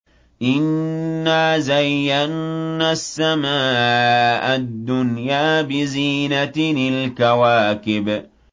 إِنَّا زَيَّنَّا السَّمَاءَ الدُّنْيَا بِزِينَةٍ الْكَوَاكِبِ